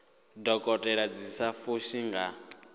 dokotela dzi sa fushi nga